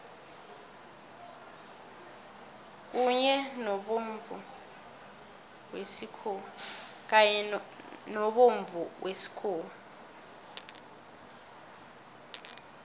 kanye nobomvumo wesikhuwa